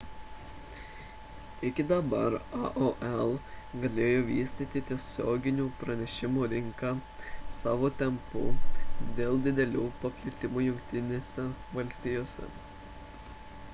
iki dabar aol galėjo vystyti tiesioginių pranešimų rinką savo tempu dėl didelio paplitimo jungtinėse valstijose